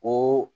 O